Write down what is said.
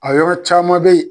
A yɔrɔ caman bɛ ye.